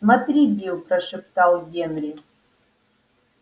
смотри билл прошептал генри